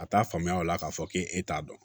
A t'a faamuya o la k'a fɔ k'e t'a dɔn